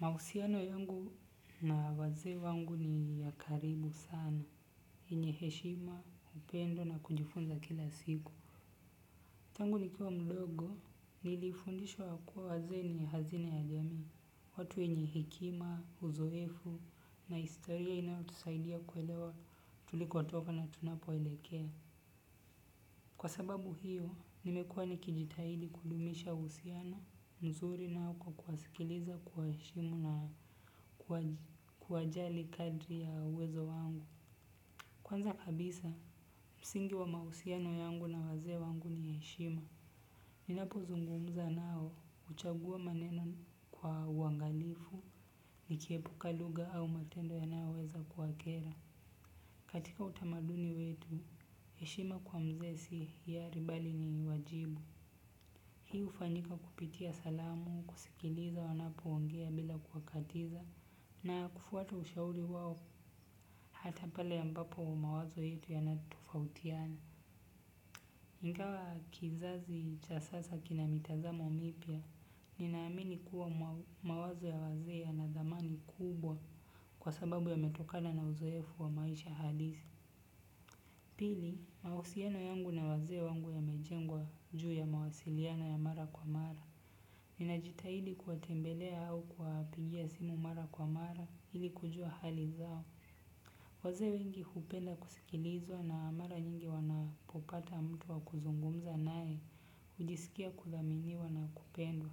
Mausiano yangu na waze wangu ni ya karibu sana, yenyeheshima, upendo na kujifunza kila siku. Tangu nikiwa mdogo, nilifundishwa kua waze ni hazina ya jami, watu enyehekima, uzoefu na istoria inaotusaidia kuelewa tuliko atoka na tunapo elekea. Kwa sababu hiyo, nimekuwa nikijitahidi kudumisha usiano mzuri nao kwa kuasikiliza kwa eshimu na kuajali kadri ya uwezo wangu. Kwanza kabisa, msingi wa mausiano yangu na waze wangu ni eshima. Ninapo zungumza nao uchagua maneno kwa wangalifu nikiepuka luga au matendo ya nao weza kuakera. Katika utamaduni wetu, yeshima kwa mze si iyari bali ni wajibu. Hi ufanyika kupitia salamu, kusikiliza wanapo wongea bila kuwakatiza, na kufuata ushauri wawo hata pale ambapo mawazo yetu yanatofautiana. Ingawa kizazi cha sasa kina mitazamo mipya, ninaamini kuwa mawazo ya wazee yana thamani kubwa kwa sababu yametokana na uzoefu wa maisha halisi. Pili, mahusiano yangu na wazee wangu yamejengwa juu ya mawasiliano ya mara kwa mara. Ninajitahidi kuwatembelea au kuwapigia simu mara kwa mara ili kujua hali zao. Wazee wengi hupenda kusikilizwa na mara nyingi wanapopata mtu wa kuzungumza naye, hujisikia kuthaminiwa na kupendwa.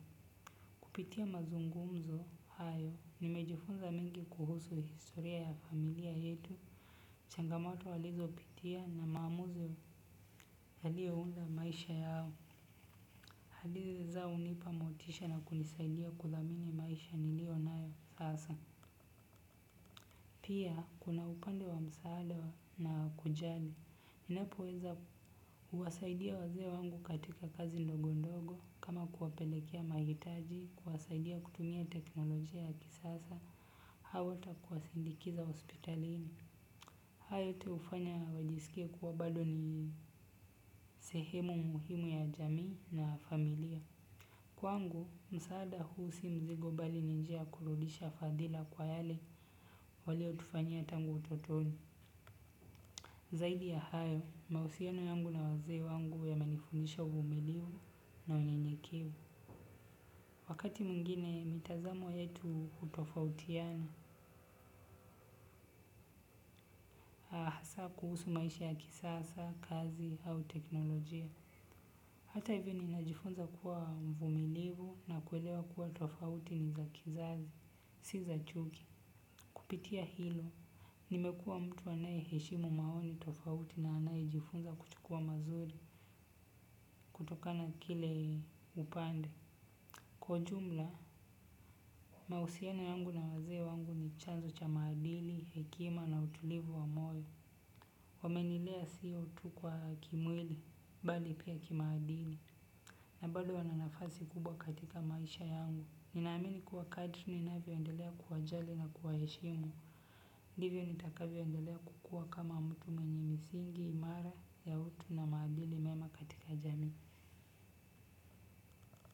Kupitia mazungumzo hayo, nimejifunza mengi kuhusu historia ya familia yetu. Changamoto walizopitia na maamuzi yaliyounda maisha yao. Hadithi zao hunipa motisha na kunisaidia kuthamini maisha niliyonayo sasa. Pia, kuna upande wa msaada na wa kujali. Ninapoweza kuwasaidia wazee wangu katika kazi ndogo ndogo kama kuwapelekea mahitaji, kuwasaidia kutumia teknolojia ya kisasa, at hata kuwasindikiza hospitalini. Hayo yote hufanya wajisikie kuwa bado ni sehemu muhimu ya jamii na familia. Kwangu, msaada huu si mzigo bali ni njia ya kurudisha fadhila kwa yale yale waliotufanyia tangu utotoni. Zaidi ya hayo mahusiano yangu na wazee wangu yamenifundisha uvumilivu na unyenyekevu. Wakati mwingine, mitazamo yetu hutofautiana. Hasa kuhusu maisha ya kisasa, kazi au teknolojia. Hata hivyo ninajifunza kuwa mvumilivu na kuelewa kuwa tofauti ni za kizazi, si za chuki. Kupitia hilo, nimekuwa mtu anayeheshimu maoni tofauti na anayejifunza kuchukua mazuri kutokana kile upande. Kwa ujumla, mahusiano yangu na wazee wangu ni chanzo cha maadili, hekima na utulivu wa moyo. Wamenilea sio tu kwa kimwili bali pia kimaadili na bado wana nafasi kubwa katika maisha yangu. Ninaamini kuwa kadri ninavyoendelea kuwajali na kuwaheshimu. Ndivyo nitakavyoendelea kukua kama mtu mwenye misingi, imara, ya utu na maadili mema katika jamii.